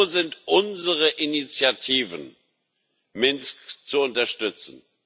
Wo sind unsere Initiativen, Minsk zu unterstützen?